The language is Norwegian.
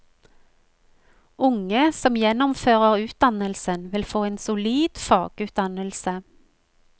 Unge som gjennomfører utdannelsen, vil få en solid fagutdannelse.